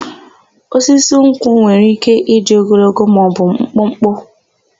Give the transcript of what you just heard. Osisi nkwụ nwere ike ịdị ogologo maọbụ mkpụkpụ.